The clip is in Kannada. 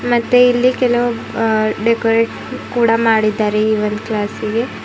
ಮತ್ತೆ ಇಲ್ಲಿ ಕೆಲವು ಆ ಡೆಕೋರೇಟ್ ಕೂಡ ಮಾಡಿದ್ದಾರೆ ಈ ಒಂದು ಕ್ಲಾಸಿಗೆ.